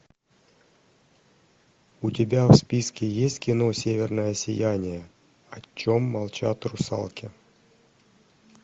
у тебя в списке есть кино северное сияние о чем молчат русалки